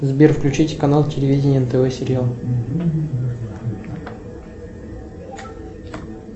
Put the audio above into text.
сбер включить канал телевидения нтв сериал